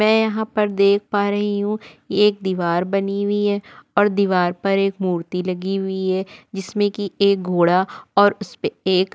मैं यहाँ पर देख पा रही हु एक दीवार बनी हुई है और दीवार पर एक मूर्ति लगी हुई है जिसमें की एक घोड़ा और उसपे एक --